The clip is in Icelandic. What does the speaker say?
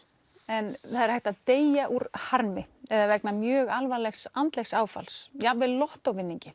en það er hægt að deyja úr harmi eða vegna mjög alvarlegs andlegs áfalls jafnvel